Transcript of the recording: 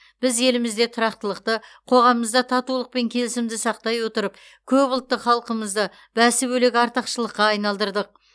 біз елімізде тұрақтылықты қоғамымызда татулық пен келісімді сақтай отырып көп ұлтты халқымызды бәсі бөлек артықшылыққа айналдырдық